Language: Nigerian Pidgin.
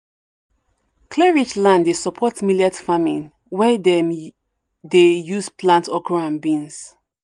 clay-rich land dey support millet farming wey dem dey use plant okra and beans.